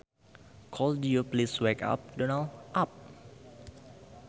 Could you please wake Donald up